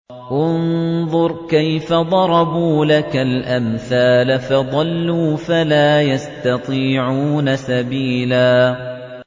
انظُرْ كَيْفَ ضَرَبُوا لَكَ الْأَمْثَالَ فَضَلُّوا فَلَا يَسْتَطِيعُونَ سَبِيلًا